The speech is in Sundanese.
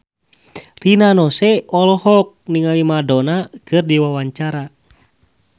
Rina Nose olohok ningali Madonna keur diwawancara